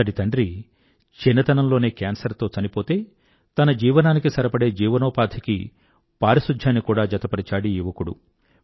అతడి తండ్రి చిన్నతనంలోనే కేన్సర్ తో చనిపోతే తన జీవనానికి సరిపడే జీవనోపాధికి పారిశుధ్యాన్ని కూడా జతపరిచాడీ యువకుడు